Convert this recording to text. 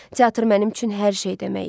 Teatr mənim üçün hər şey demək idi.